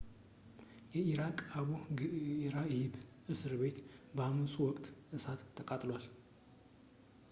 የኢራቅ አቡ ግህራኢብ እስር ቤት በአመጹ ወቅት እሳት ተቃጥሏል